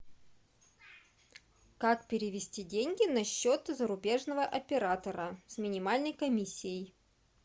как перевести деньги на счет зарубежного оператора с минимальной комиссией